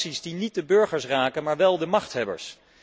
Sancties die niet de burgers raken, maar wel de machthebbers.